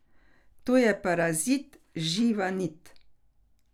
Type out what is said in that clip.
To je parazit živa nit.